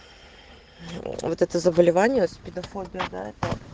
вот это заболевание спидофобия да это